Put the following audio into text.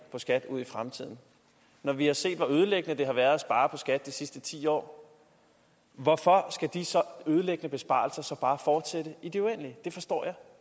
i skat ud i fremtiden når vi har set hvor ødelæggende det har været at spare på skat de sidste ti år hvorfor skal de ødelæggende besparelser så bare fortsætte i det uendelige det forstår jeg